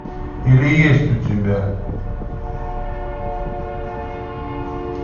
или есть у тебя